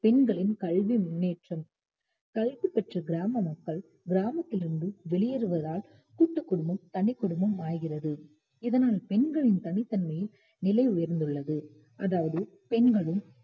பெண்களின் கல்வி முன்னேற்றம் கல்வி கற்ற கிராம மக்கள் கிராமத்திலிருந்து வெளியேறுவதால் கூட்டுக் குடும்பம் தனிக்குடும்பம் ஆகிறது இதனால் பெண்களின் தனித்தன்மையின் நிலை உயர்ந்துள்ளது அதாவது பெண்களும்